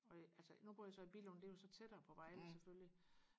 og altså nu bor jeg så i Billund det er jo så tættere på Vejle selvfølgelig